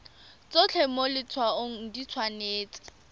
tsotlhe mo letshwaong di tshwanetse